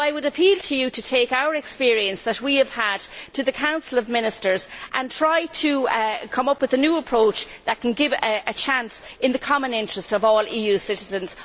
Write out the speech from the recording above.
So I would appeal to you to take the experience that we have gained to the Council of Ministers and try to come up with a new approach that can give us a chance in the common interests of all EU citizens.